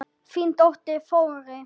Þín dóttir, Þórey.